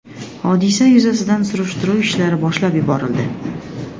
Hodisa yuzasidan surishtiruv ishlari boshlab yuborildi.